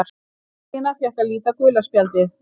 Ólína fékk að líta gula spjaldið.